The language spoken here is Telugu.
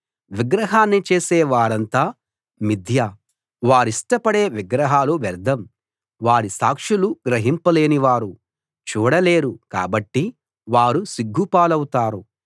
విగ్రహాన్ని చేసే వారంతా మిధ్య వారిష్టపడే విగ్రహాలు వ్యర్ధం వారి సాక్షులు గ్రహింపు లేనివారు చూడలేరు కాబట్టి వారు సిగ్గు పాలవుతారు